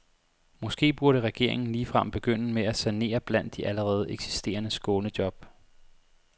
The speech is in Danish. Måske burde regeringen ligefrem begynde med at sanere blandt de allerede eksisterende skånejob.